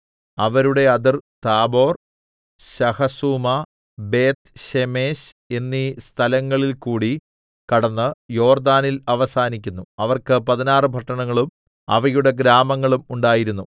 അവരുടെ അതിർ Tabor Shahazumah Beth Shemesh എന്നീ സ്ഥലങ്ങളിൽ കൂടി കടന്ന് യോർദ്ദാനിൽ അവസാനിക്കുന്നു അവർക്ക് പതിനാറ് പട്ടണങ്ങളും അവയുടെ ഗ്രാമങ്ങളും ഉണ്ടായിരുന്നു